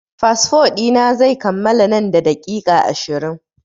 Fasfo ɗi na zai kammala nan da daƙiƙa ashirin.